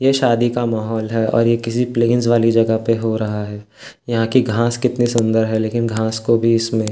ये शादी का माहौल है और ये किसी प्लेन्स वाली जगह पे हो रहा है यहाँ की घास कितनी सुंदर है लेकिन घास को भी इसमें --